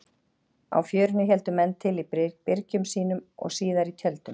Á Fjörunni héldu menn til í byrgjum sínum og síðar í tjöldum.